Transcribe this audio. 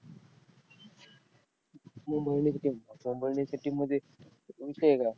Mumbai indians ची team, Mumbai indians च्या team मध्ये विषय वेगळा.